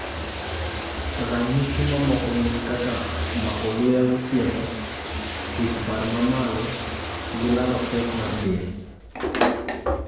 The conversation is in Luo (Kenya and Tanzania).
Ranyisi mamoko gin kaka mako luya gotieno, wich bar mamalo gi lalo pek mar del